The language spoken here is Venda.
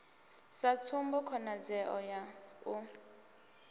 sa tsumbo khonadzeo ya u